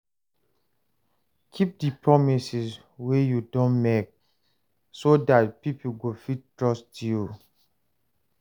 Keep di promises wey you don make so dat pipo go fit trust you